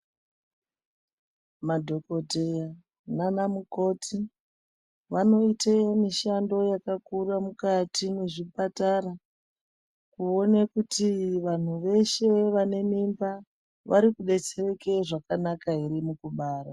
Madhokoteya nana mukoti vanoite mishando yakakura mukati mwezvipatara kuone kuti vanhu veshe vane mimba vari kubetsereke zvakanaka ere mukubara.